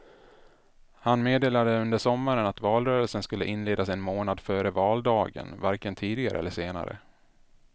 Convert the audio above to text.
Han meddelade under sommaren att valrörelsen skulle inledas en månad före valdagen, varken tidigare eller senare.